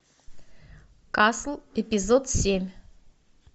касл эпизод семь